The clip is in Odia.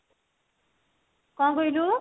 କଣ କହିଲୁ